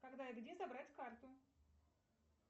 когда и где забрать карту